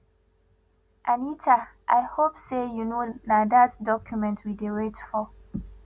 anita i hope say you no na dat document we dey wait for